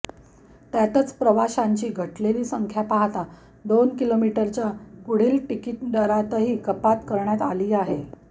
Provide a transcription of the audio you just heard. त्यातच प्रवाशांची घटलेली संख्या पाहता दोन किलोमीटरच्या पुढील तिकीटदरातही कपात करण्यात आली आहे